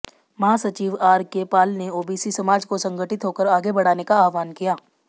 महासचिव आरके पाल ने ओबीसी समाज को संगठित होकर आगे बढऩे का आह्वान किया